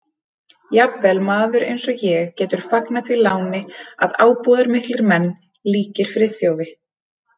Jafnvel maður eins og ég getur fagnað því láni að ábúðarmiklir menn líkir Friðþjófi